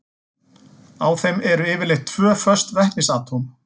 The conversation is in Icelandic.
Á þeim eru yfirleitt tvö föst vetnisatóm.